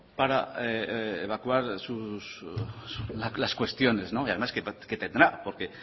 para evacuar sus las cuestiones y además tendrá porque